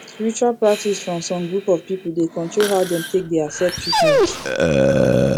spiritual practice from some group of people dey control how dem take dey accept treatment